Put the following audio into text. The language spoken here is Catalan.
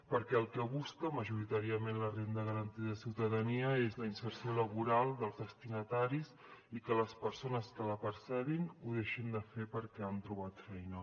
perquè el que busca majoritàriament la renda garantida de ciutadania és la inserció laboral dels destinataris i que les persones que la percebin ho deixin de fer perquè han trobat feina